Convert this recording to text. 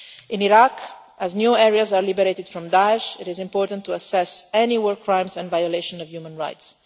In Iraq, as new areas are liberated from Daesh, it is important to assess any war crimes and violations of human rights.